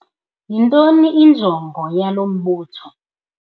Yintoni injongo yalo mbutho?